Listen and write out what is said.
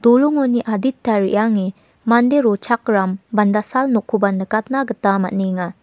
dolongoni adita reange mande rochakram bandasal nokoba nikatna gita man·enga.